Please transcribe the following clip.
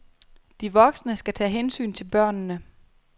De voksne skal tage hensyn til børnene.